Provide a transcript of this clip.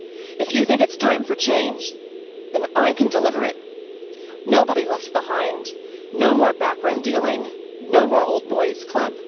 If you think it's time for change, then I can deliver it nobody left behind, no more backroom dealing, no more old boys' club.